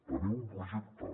tenim un projecte